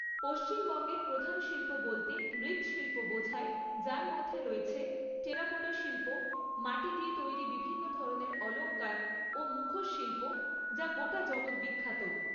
পশ্চিমবঙ্গের প্রধান শিল্প বলতে মৃৎশিল্প বোঝায় যার মধ্যে রয়েছে টেরাকোটা শিল্প মাটি দিয়ে তৈরি বিভিন্ন ধরনের অলংকার ও মুখোশ শিল্প যা গোটা জগৎ বিখ্যাত